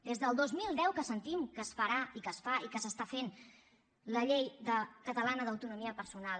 des del dos mil deu que sentim que es farà i que es fa i que s’està fent la llei catalana d’autonomia personal